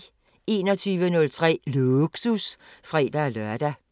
21:03: Lågsus (fre-lør)